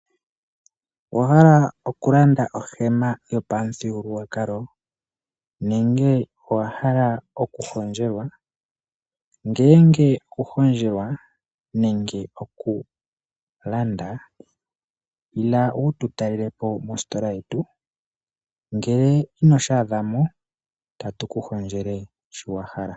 Owahala oku landa ohema yopamuthigululwakalo nenge owa hala oku hondjelwa? Ngeeenge oku hondjelwa nenge oku landa ila wutu talelepo mostola yetu, ngele ino shi adha mo otatu ku hondjele shi wahala.